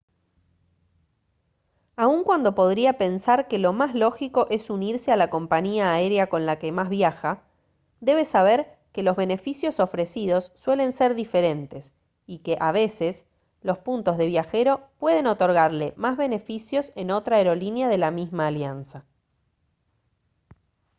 aun cuando podría pensar que lo más lógico es unirse a la compañía aérea con la que más viaja debe saber que los beneficios ofrecidos suelen ser diferentes y que a veces los puntos de viajero pueden otorgarle más beneficios en otra aerolínea de la misma alianza